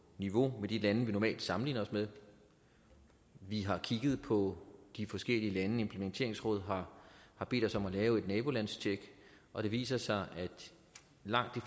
niveau med de lande vi normalt sammenligner os med vi har kigget på de forskellige lande implementeringsrådet har bedt os om at lave et nabolandstjek og det viser sig at i langt